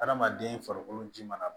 Adamaden farikolo ji mana